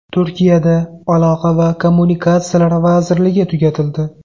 Turkiyada aloqa va kommunikatsiyalar vazirligi tugatildi.